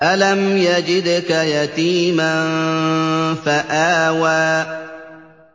أَلَمْ يَجِدْكَ يَتِيمًا فَآوَىٰ